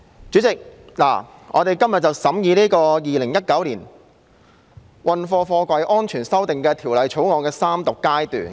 主席，現在進行《2019年運貨貨櫃條例草案》的三讀。